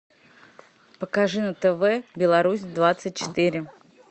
покажи на тв беларусь двадцать четыре